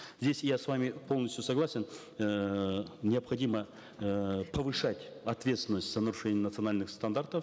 здесь я с вами полностью согласен эээ необходимо эээ повышать ответственность за нарушение национальных стандартов